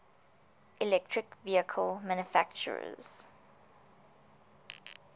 electric vehicle manufacturers